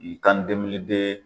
Nin